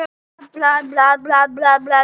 Hvað er með hann?